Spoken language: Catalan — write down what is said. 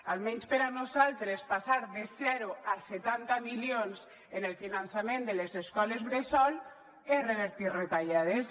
almenys per a nosaltres passar de zero a setanta milions en el finançament de les escoles bressol és revertir retallades